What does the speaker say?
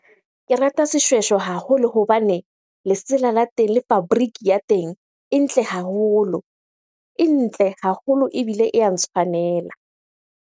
Ke rata seshweshwe haholo hobane lesela la teng le fabric ya teng e ntle haholo. E ntle haholo ebile e ya ntshwanela.